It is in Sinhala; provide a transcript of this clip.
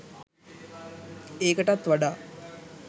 ඒකටත් වඩා